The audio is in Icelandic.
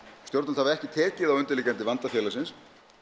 stjórnvöld hafa ekki tekið á undirliggjandi vanda félagsins